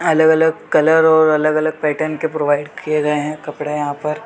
अलग - अलग कलर और अलग - अलग पैटर्न के प्रोवाइड किये गये है कपड़े यहाँ पर --